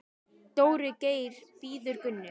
Dóri Geir bíður Gunnu.